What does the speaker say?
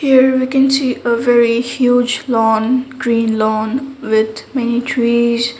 here we can see a very huge lawn green lawn with many trees.